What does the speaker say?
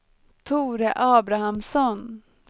Tore Abrahamsson